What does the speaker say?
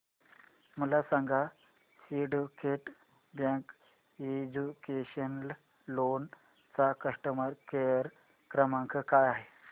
मला सांगा Syndicate Bank educational loan चा कस्टमर केअर क्रमांक काय आहे